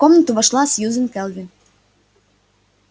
в комнату вошла сьюзен кэлвин